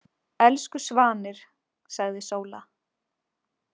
Elsku svanir, sagði Sóla. „